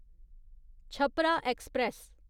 Chhapra express